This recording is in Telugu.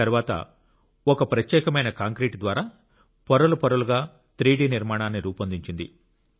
తరువాత ఒక ప్రత్యేకమైన కాంక్రీటు ద్వారా పొరలు పొరలుగా 3 డి నిర్మాణాన్ని రూపొందించింది